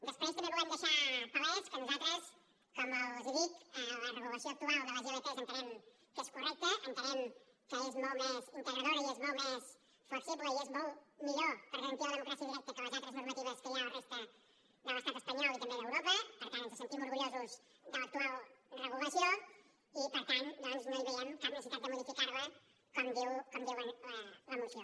després també volem deixar palès que nosaltres com els dic la regulació actual de les ilp entenem que és correcta entenem que és molt més integradora i és molt més flexible i és molt millor per garantir la democràcia directa que les altres normatives que hi ha a la resta de l’estat espanyol i també d’europa per tant ens sentim orgullosos de l’actual regulació i per tant doncs no hi veiem cap necessitat de modificar la com diu la moció